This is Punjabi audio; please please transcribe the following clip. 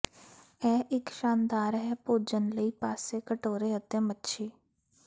ਇਹ ਇੱਕ ਸ਼ਾਨਦਾਰ ਹੈ ਭੋਜਨ ਲਈ ਪਾਸੇ ਕਟੋਰੇ ਅਤੇ ਮੱਛੀ